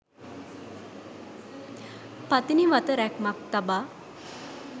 පතිනිවත රැක්මක් තබා